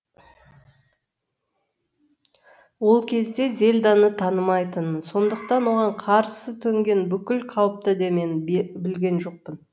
ол кезде зельданы танымайтынмын сондықтан оған қарсы төнген бүкіл қауіпті де мен білген жоқпын